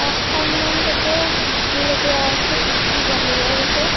পাঁচখনমান তাতে খিৰিকী লগোৱা আছে এ_চি বাহিৰত আছে।